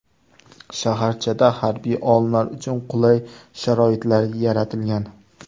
Shaharchada harbiy olimlar uchun qulay sharoitlar yaratilgan.